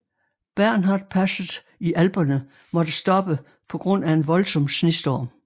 Bernhard passet i alperne måtte stoppe på grund af en voldsom snestorm